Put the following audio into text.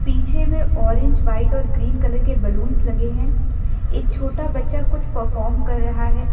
पीछे में orange white और ग्रीन कलर के बलूंस लगे हैं एक छोटा बच्चा कुछ परफॉर्म कर रहा है।